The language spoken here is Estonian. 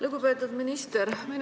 Lugupeetud minister!